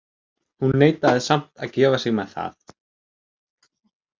Hún neitaði samt að gefa sig með það.